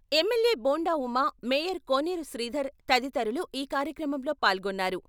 MLA Bonda Uma, mayor Koneru Sridhar తదితరులు ఈ కార్యక్రమంలో పాల్గొన్నారు.